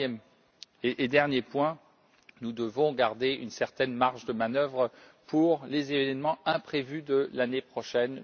Troisième et dernier point, nous devons garder une certaine marge de manœuvre pour les événements imprévus de l'année prochaine.